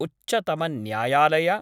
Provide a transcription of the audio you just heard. उच्चतम न्यायालय